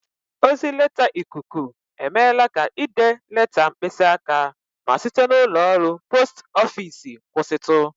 Ozi leta ikuku emeela ka ide leta mkpịsị aka ma site n'ụlọọrụ post ofiisi kwụsịtụ